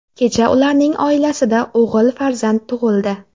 Kecha ularning oilasida o‘g‘il farzand tug‘ildi.